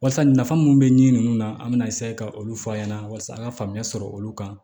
Walasa nafa munnu be ɲɛ nunnu na an bɛna eseye ka olu f'a ɲɛna walasa an ka faamuya sɔrɔ olu kan